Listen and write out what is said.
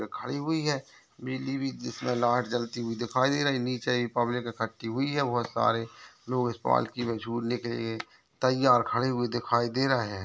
खड़ी हुई है बिजली भी जिसमें लाइट जलती हुई दिखाई दे रही नीचे ये पब्लिक इकट्ठी हुई है वो सारे लोग इस पालकी में झूलने के लिए तैयार खड़े हुए दिखाई दे रहे है।